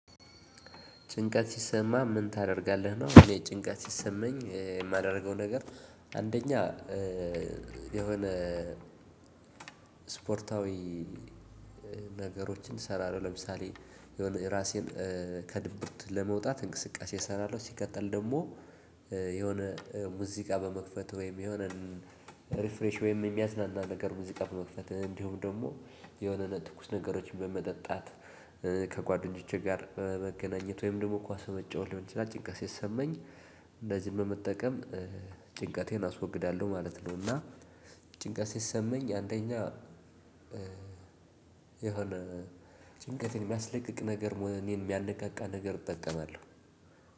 ጭንቀት ሲሰማ ምን ታደርጋለህ? ነው እኔ ጭንቀት ሲሰማኝ የማደርገው ነገር አንደኛ የሆነ ስፖርታዊ ነገሮችን እሰራለሁ። ለምሳሌ የሆነ ራሴን ከድብርት ለመውጣት እንቅስቃሴ እሰራለሁ ሲቀጥል ደግሞ የሆነ ሙዚቃ በመክፈት ወይም የሆነን ሪፍሬሽ ወይም የሚያዝናና ነገር ሙዚቃ በመክፈት እንዲሁም ደግሞ የሆነ ነገር ትኩስ ነገሮችን በመጠጣት፣ ከጓደኞቼ ጋር መገናኘት፣ ወይም ደግሞ ኳስ መጫወት ሊሆን ይችላል ጭንቀት ሲሰማኝ እነዚህን በመጠቀም ጭንቀቴን አስወግዳለሁ ማለት ነው። እና ጭንቀት ሲሰማኝ አንደኛ የሆነ ጭንቀት የሚያስለቅቅ ነገር እኔን የሚያነቃቃ ነገር እጠቀማለሁ።